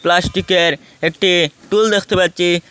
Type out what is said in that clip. প্লাস্টিকের একটি টুল দেখতে পারছি।